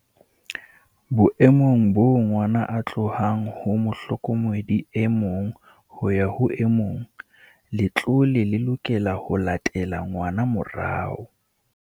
"Boemong boo ngwana a tlohang ho mohlokomedi e mong ho ya ho e mong, letlole le lokela ho latela ngwana morao."